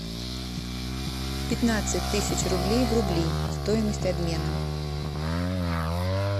пятнадцать тысяч рублей в рубли стоимость обмена